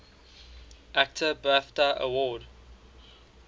actor bafta award